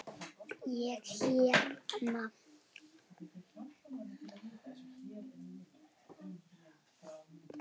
Ég hérna.